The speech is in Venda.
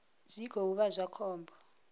zwi khou vha zwa khombo